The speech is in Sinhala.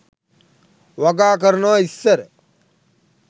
වගා කරනවා ඉස්සර.